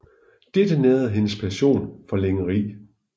Dette nærede hendes passion for lingeri